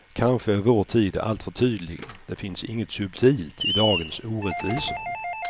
Kanske är vår tid alltför tydlig, det finns inget subtilt i dagens orättvisor.